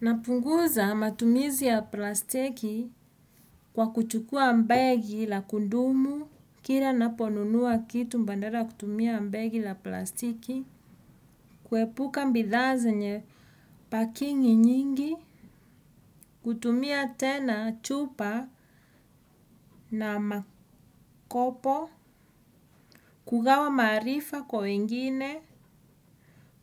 Napunguza matumizi ya plastiki kwa kuchukua begi ya kudumu kila ninaponunua kitu badala ya kutumia begi ya plastiki kuepula bidhaa zenye paki nyingi kutumia tena chupa na makopo, kugawa maarifa kwa wengine,